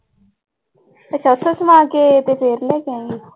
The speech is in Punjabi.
ਅੱਛਾ ਉੱਥੋਂ ਸਮਾ ਕੇ ਤੇ ਫਿਰ ਲੈ ਕੇ ਆਏਂਗੀ।